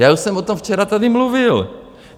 Já už jsem o tom včera tady mluvil.